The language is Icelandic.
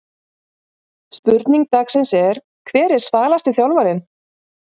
Spurning dagsins er: Hver er svalasti þjálfarinn?